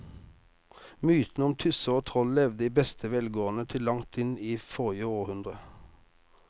Mytene om tusser og troll levde i beste velgående til langt inn i forrige århundre.